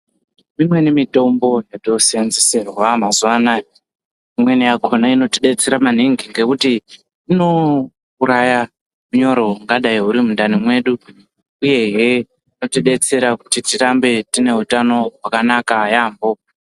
Imweni mitombo yatosenzeserwa mazuva anaya. Imweni yakona inotibetsera maningi ngekuti inouraya unyoro hungadai huri mundani mwedu, uyehe inotibetsera kuti tirambe tine hutano hwakanaka yaamho.